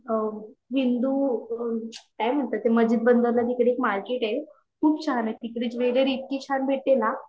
आ हिंदू काय म्हणतात ते मस्जिद तिकडे मार्केट आहे खूप छान आहे तिकडे ज्वेलरी छान भेटते न